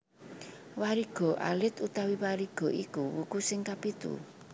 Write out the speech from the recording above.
Wariga alit utawa Wariga iku wuku sing kapitu